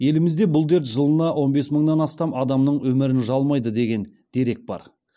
елімізде бұл дерт жылына он бес мыңнан астам адамның өмірін жалмайды деген дерек бар